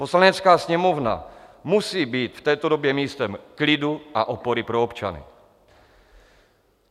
Poslanecká sněmovna musí být v této době místem klidu a opory pro občany.